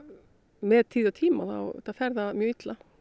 með tíð og tíma fer það mjög illa